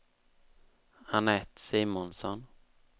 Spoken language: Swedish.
Anette Simonsson